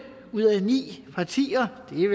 ud af ni partier og det er